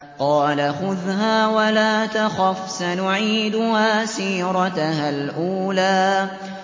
قَالَ خُذْهَا وَلَا تَخَفْ ۖ سَنُعِيدُهَا سِيرَتَهَا الْأُولَىٰ